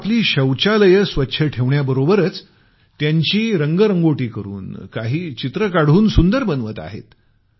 लोक आपली शौचालयं स्वच्छ ठेवण्याबरोबरच त्यांची रंगरंगोटी करून काही पेंटिंग बनवून सुंदर बनवत आहेत